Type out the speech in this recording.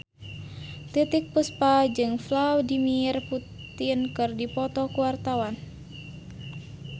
Titiek Puspa jeung Vladimir Putin keur dipoto ku wartawan